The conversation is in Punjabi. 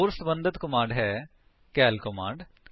ਹੋਰ ਸਬੰਧਤ ਕਮਾਂਡ ਹੈ ਕਾਲ ਕਮਾਂਡ